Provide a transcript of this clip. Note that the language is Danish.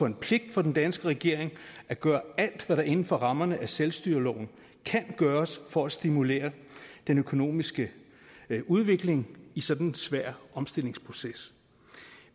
en pligt for den danske regering at gøre alt hvad der inden for rammerne af selvstyreloven kan gøres for at stimulere den økonomiske udvikling i sådan en svær omstillingsproces